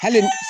Hali